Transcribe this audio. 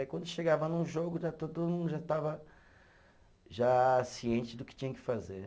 Aí quando chegava num jogo, todo mundo já estava, já ciente do que tinha que fazer.